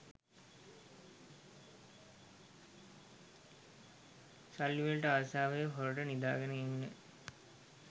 සල්ලිවලට ආසාවෙ හොරට නිදාගෙන ඉන්න